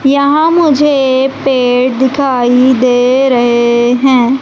यहां मुझे पेड़ दिखाई दे रहे हैं।